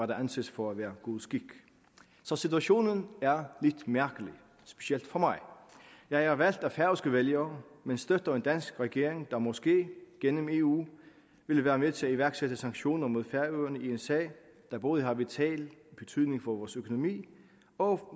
der anses for at være god skik så situationen er lidt mærkelig specielt for mig jeg er valgt af færøske vælgere men støtter en dansk regering der måske gennem eu vil være med til at iværksætte sanktioner mod færøerne i en sag der både har vital betydning for vores økonomi og